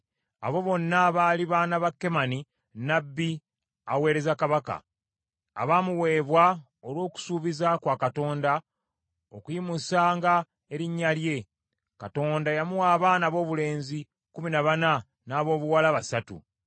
Abo bonna baali baana ba Kemani nnabbi aweereza kabaka, abaamuweebwa olw’okusuubiza kwa Katonda, okuyimusanga erinnya lye. Katonda yamuwa abaana aboobulenzi kkumi na bana, n’aboobuwala basatu.